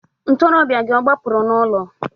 Ntoroọbịa gị ọ gbapụrụ n'ụlọ?